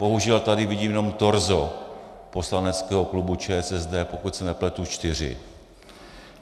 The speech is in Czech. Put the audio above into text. Bohužel tady vidím jenom torzo poslaneckého klubu ČSSD, pokud se nepletu, čtyři.